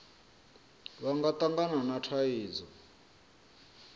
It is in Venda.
vha nga tangana na thaidzo